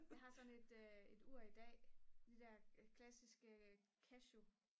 jeg har sådan et ur i dag de der klassiske casio